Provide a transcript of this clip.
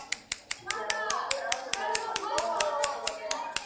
Já, bráðum verður allt einsog það á að vera.